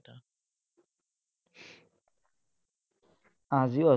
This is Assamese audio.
আজিও আছিলে।